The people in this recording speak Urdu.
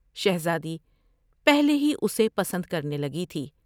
شہرادی پہلے ہی اسے پسند کرنے گئی تھی ۔